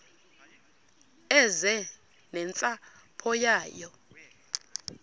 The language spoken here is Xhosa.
eze nentsapho yayo